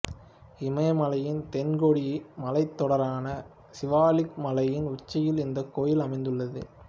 இமயமலையின் தென்கோடி மலைத் தொடரான சிவாலிக் மலையின் உச்சியில் இந்தக் கோயில் அமைந்துள்ளது